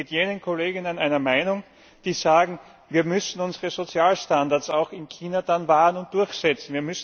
Ich bin mit jenen Kolleginnen einer Meinung, die sagen Wir müssen unsere Sozialstandards dann auch in China wahren und durchsetzen.